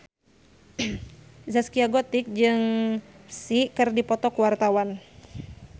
Zaskia Gotik jeung Psy keur dipoto ku wartawan